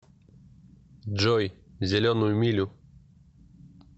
джой зеленую милю